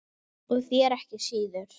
Og þér ekki síður